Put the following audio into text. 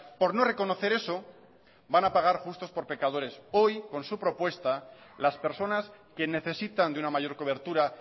por no reconocer eso van a pagar justos por pecadores hoy con su propuesta las personas que necesitan de una mayor cobertura